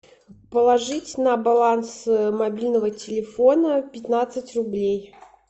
положить на баланс мобильного телефона пятнадцать рублей